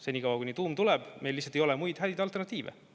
Senikaua kuni tuum tuleb, meil lihtsalt ei ole muid häid alternatiive.